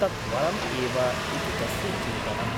तत् वरम् एव ' इति तस्य चिन्तनम् ।